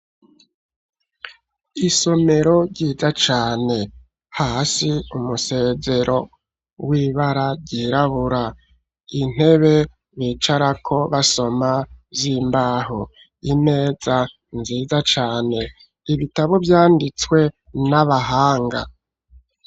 Isomero ryiza cane, hasi umusezero w'ibara ryirabura, intebe bicarako basoma z'imbaho, imeza nziza cane, ibitabo vyanditswe n'abahanga.